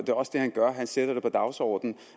er også det han gør han sætter det på dagsordenen